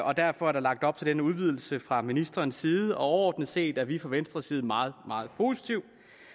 og derfor er der lagt op til denne udvidelse fra ministerens side overordnet set er vi fra venstres side meget meget positive